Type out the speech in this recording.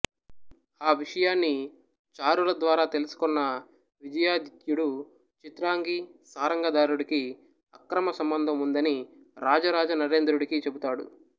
ఆ విషయాన్ని చారుల ద్వారా తెలుసుకొన్న విజయాదిత్యుడు చిత్రాంగి సారంగధారుడికి అక్రమ సంభంధం ఉన్నదని రాజారాజ నరేంద్రుడి చెబుతాడు